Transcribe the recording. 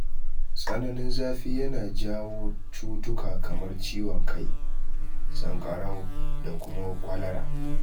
Tsananin zafi yana jawo cutuka kamar ciwon kai, sanƙarau da kuma kwalara.